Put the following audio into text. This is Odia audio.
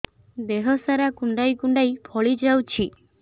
ଦେହ ସାରା କୁଣ୍ଡାଇ କୁଣ୍ଡାଇ ଫଳି ଯାଉଛି